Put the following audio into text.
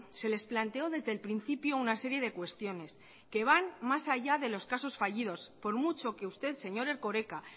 se les planteó desde el principio una serie de cuestiones que van más allá de los casos fallidos por mucho que usted señor erkoreka